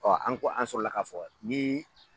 an ko an sɔrɔla ka fɔ nin